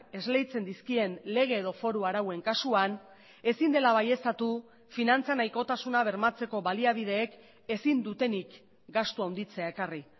esleitzen dizkien lege edo foru arauen kasuan ezin dela baieztatu finantza nahikotasuna bermatzeko baliabideek ezin dutenik gastu handitzea ekarri